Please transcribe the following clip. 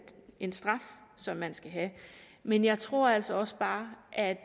en straf som man skal have men jeg tror altså også bare at